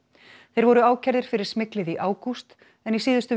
þeir voru ákærðir fyrir smyglið í ágúst en í síðustu